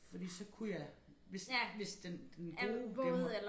Fordi så kunne jeg hvis hvis den den gode den